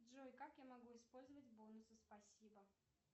джой как я могу использовать бонусы спасибо